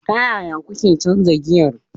Ta yaya kuke canza giyar?